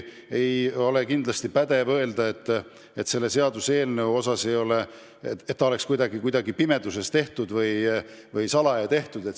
Ja kindlasti pole alust öelda, et see eelnõu on kuidagi pimeduses või salaja tehtud.